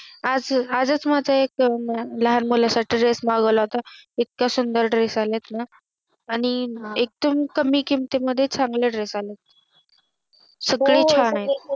आजच मजाही एक लहान मुलांसाठी Dress मागवला होता इतका सुंदर Dress आला आहेत ना आणि हम्म एकदम कमी किमती मध्ये चांगले Dress आलेत हम्म सगळे छान आहे हो हो